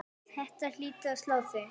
Þetta hlýtur að slá þig?